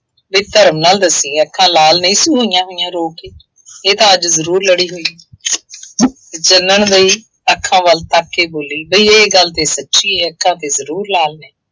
ਨੀਂ ਧਰਮ ਨਾਲ ਦੱਸੀਂ, ਅੱਖਾਂ ਲਾਲ ਨਹੀਂ ਸੀ ਹੋਈਆ ਹੋਈਆ ਰੋ ਕੇ, ਇਹ ਤਾਂ ਅੱਜ ਜ਼ਰੂਰ ਲੜੀ ਹੋਈ ਹੈ। ਚਾਨਣ ਦੇਈ ਅੱਖਾਂ ਵੱਲ ਤੱਕ ਕੇ ਬੋਲੀ ਬਈ ਇਹ ਗੱਲ ਤਾਂ ਸੱਚੀ ਹੈ, ਅੱਖਾਂ ਤੇ ਜ਼ਰੂਰ ਲਾਲ ਨੇ।